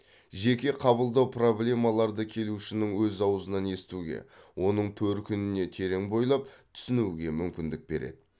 жеке қабылдау проблемаларды келушінің өз ауызынан естуге оның төркініне терең бойлап түсінуге мүмкіндік береді